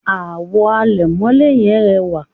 àwo àlẹ̀mọ́lẹ̀ yẹn rẹwà